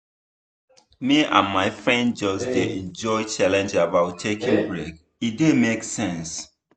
me and my friends just dey enjoy one challenge about taking break e dey make sense.